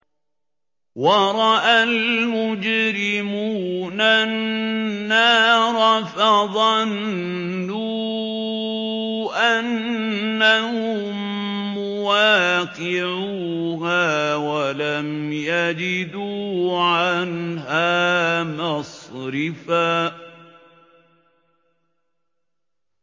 وَرَأَى الْمُجْرِمُونَ النَّارَ فَظَنُّوا أَنَّهُم مُّوَاقِعُوهَا وَلَمْ يَجِدُوا عَنْهَا مَصْرِفًا